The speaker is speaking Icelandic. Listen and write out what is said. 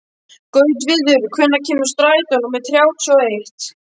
Gautviður, hvenær kemur strætó númer þrjátíu og eitt?